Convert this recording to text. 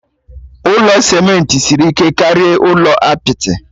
Ụlọ simenti siri ike karịa ụlọ apịtị